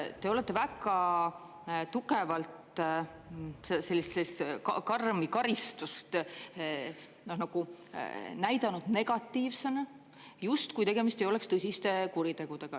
Te olete väga tugevalt sellist karmi karistust nagu näidanud negatiivsena, justkui tegemist ei oleks tõsiste kuritegudega.